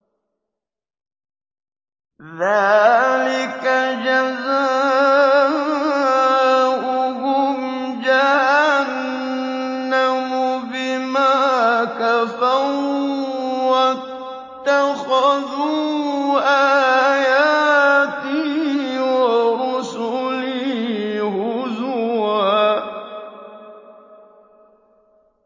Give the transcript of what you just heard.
ذَٰلِكَ جَزَاؤُهُمْ جَهَنَّمُ بِمَا كَفَرُوا وَاتَّخَذُوا آيَاتِي وَرُسُلِي هُزُوًا